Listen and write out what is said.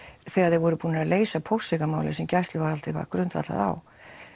þegar þeir voru búnir að leysa póstsvikamálið sem gæsluvarðhaldið var grundvallað á